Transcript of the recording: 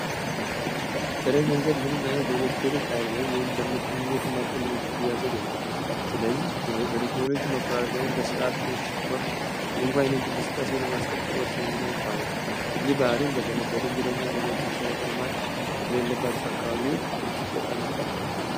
ጥሬ ገንዘብ ምንም ዓይነት የለውጥ ሃይል ወይንም ግኝት የሚያስፈልገው የክፍያ ዘዴ ነው። ስለዚህ የበቴክኖሎጂ መቆጣጠር ወይም በሥራ ብልሽ ወቅት እንኳን የንድግ እንቅስቃሴን ለማስቀጠል ወሳኝ ሚና ይጫወታል። የበዓሉን በተለይም በድንገተኛ አደጋዎች መሠረተ ልማት በሌለባቸው አካባቢዎች እጅግ ጠቃሚ ያደርገዋል።